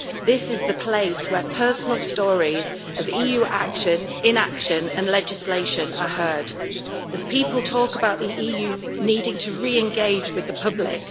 This is the place where personal stories of EU action, inaction and legislation are heard, as people talk about the EU needing to re engage with the public